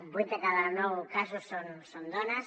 vuit de cada nou casos són dones